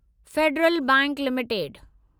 Federal bank limited